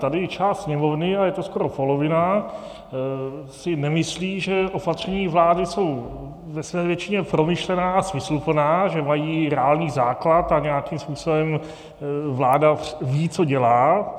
Tady část Sněmovny, a je to skoro polovina, si nemyslí, že opatření vlády jsou ve své většině promyšlená a smysluplná, že mají reálný základ a nějakým způsobem vláda ví, co dělá.